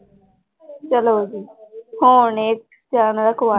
ਚਲੋ ਜੀ ਹੁਣ ਇਹ